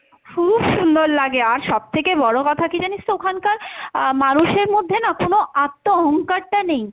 খুব সুন্দর লাগে আর সবথেকে বড়ো কথা কী জানিস তো ওখানকার আহ মানুষের মধ্যে না কোনো আত্ম অহংকারটা নেই,